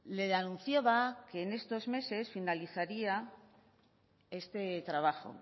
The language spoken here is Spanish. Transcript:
le anunciaba que en estos meses finalizaría este trabajo